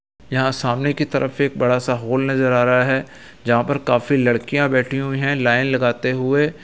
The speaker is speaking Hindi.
यहाँ सामने की तरफ एक बड़ा सा हॉल नजर आ रहा है जहाँ पर काफी लड़कियां बैठी हुई है लाइन लगाते हुए।